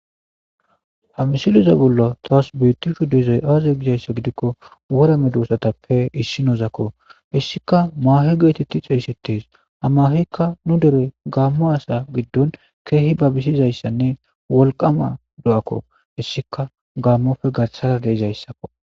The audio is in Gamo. Hamisiloza bollo taas bitishu dezoy aazay gizayssa gidikko wora me duussatappe issinozakko hissika maahe geetetti xeyssetes hamahikka nu dere gaammo asa giddon keehi ba bisizayssanne wolqama do7akko hissika gaammofe gathshara deizayssakko